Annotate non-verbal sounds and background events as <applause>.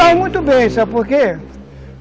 <unintelligible> muito bem, sabe por quê?